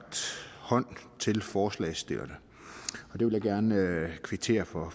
hånd til forslagsstillerne og det vil jeg gerne kvittere for